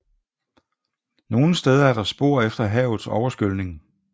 Nogle steder er der spor efter havets overskyldning